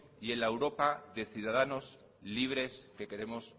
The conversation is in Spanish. y en la europa de ciudadanos libres que queremos